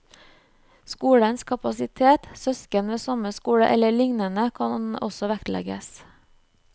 Skolens kapasitet, søsken ved samme skole, eller lignende kan også vektlegges.